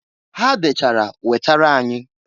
Ha dechara wetara anyị.